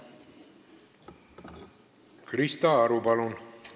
Krista Aru, palun!